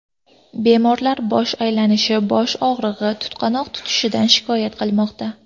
Bemorlar bosh aylanishi, bosh og‘rig‘i, tutqanoq tutishidan shikoyat qilmoqda.